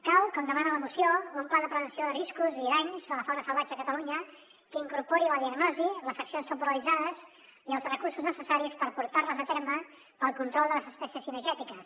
cal com demana la moció un pla de prevenció de riscos i danys de la fauna sal·vatge a catalunya que incorpori la diagnosi les accions temporalitzades i els recur·sos necessaris per portar·les a terme per al control de les espècies cinegètiques